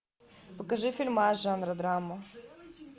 покажи фильмас жанра драма